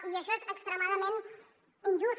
i això és extremadament injust